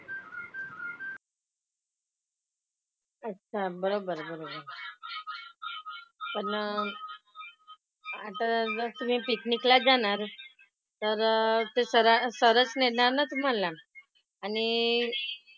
अच्छा. बरोबर आहे बरोबर आहे. पण आता उलट तुम्ही पिकनिक लाच जाणार तर ते सर सर च नेणार ना तुम्हाला. आणि,